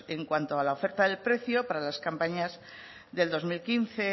en cuanto a la oferta de precio para las campañas del dos mil quince